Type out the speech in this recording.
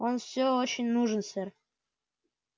он всё очень нужен сэр